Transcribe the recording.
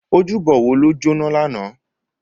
Ójúbò wó ló jóná làná?